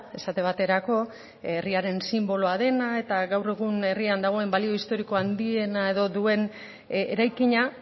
esate baterako herriaren sinboloa dena eta gaur egun herrian dagoen balio historiko handiena edo duen eraikina